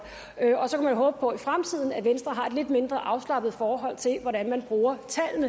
og så kunne man håbe på i fremtiden at venstre har et lidt mindre afslappet forhold til hvordan man bruger